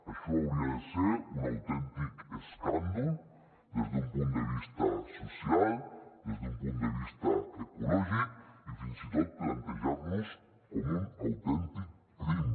això hauria de ser un autèntic escàndol des d’un punt de vista social des d’un punt de vista ecològic i fins i tot plantejar nos ho com un autèntic crim